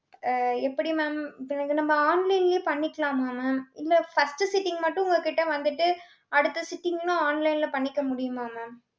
அஹ் எப்படி mam இப்ப இது நம்ம online லயே பண்ணிக்கலாமா mam இல்லை first sitting மட்டும் உங்க கிட்ட வந்துட்டு அடுத்த sitting லும் online ல பண்ணிக்க முடியுமா mam